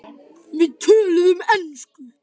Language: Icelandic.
Við töluðum ensku.